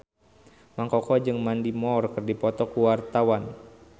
Mang Koko jeung Mandy Moore keur dipoto ku wartawan